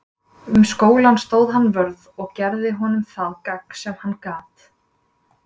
Um skólann stóð hann vörð og gerði honum það gagn sem hann gat.